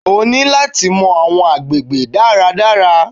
O ní láti mọ àwọn agbègbè dára dára.